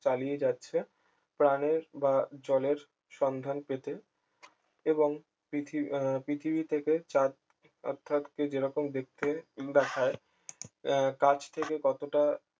চালিয়ে যাচ্ছে প্রাণের বা জলের সন্ধান পেতে এবং পৃথিবীর পৃথি আহ পৃথিবী থেকে চাঁদ অর্থাৎ কি যেরকম দেখতে দেখায় আহ কাছ থেকে কতটা